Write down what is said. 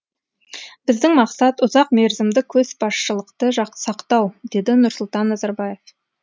біздің мақсат ұзақмерзімді көшбасшылықты сақтау деді нұрсұлтан назарбаев